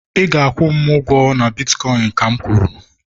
ị ga-akwụ m ụgwọ na bitkọịn ka'm kwuru!